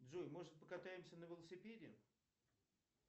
джой может покатаемся на велосипеде